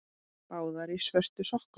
Báðar í svörtum sokkum.